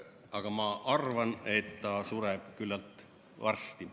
Aga ma arvan, et ta sureb küllalt varsti.